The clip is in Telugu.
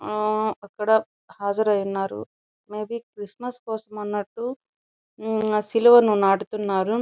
అక్కడ హాజరై ఉన్నారు మేబి క్రిస్మస్ కోసం అన్నట్టు సిలువను నాటుతున్నారు.